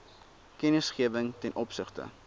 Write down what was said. kennisgewing ten opsigte